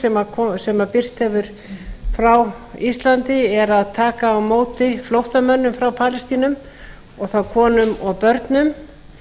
sem birst hefur frá íslandi er að taka á móti flóttamönnum frá palestínu og þá konum og börnum